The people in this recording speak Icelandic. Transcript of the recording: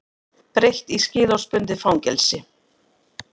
Breytt í skilorðsbundið fangelsi